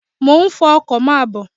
Mo ń fọ ọkọ, máa bọ̀.